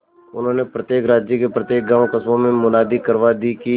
उन्होंने प्रत्येक राज्य के प्रत्येक गांवकस्बों में मुनादी करवा दी कि